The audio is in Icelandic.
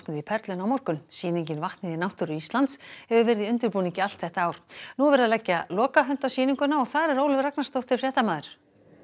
í Perlunni á morgun sýningin vatnið í náttúru Íslands hefur verið í undirbúningi allt þetta ár nú er verið að leggja lokahönd á sýninguna og þar er Ólöf Ragnarsdóttir fréttamaður